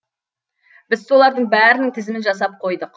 біз солардың бәрінің тізімін жасап қойдық